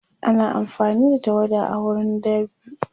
ana amfani da tawada a wurin dab'i